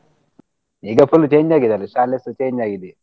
ಈಗ full change ಆಗಿದ್ದಾರೆ ಶಾಲೆ ಸ change ಆಗಿದೆ.